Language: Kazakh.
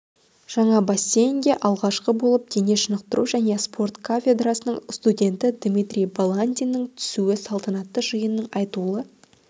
жаңа бассейнге алғашқы болып дене шынықтыру және спорт кафедрасының студенті дмитрий баландиннің түсуі салтанатты жиынның айтулы